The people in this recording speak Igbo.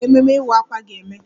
Ebee ka ememme Akwa Iwa ga-eme?